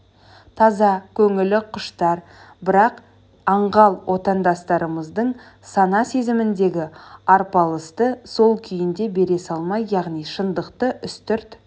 таза көңілі құштар бірақ аңғал отандастарымыздың сана-сезіміндегі арпалысты сол күйінде бере салмай яғни шындықты үстірт